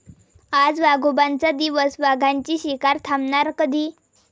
आज वाघोबांचा दिवस, वाघांची शिकार थांबणार कधी?